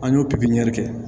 An y'o pikiri kɛ